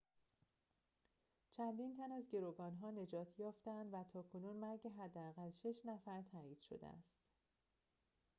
چندین تن از گروگان‌ها نجات یافته‌اند و تاکنون مرگ حداقل شش نفر تایید شده است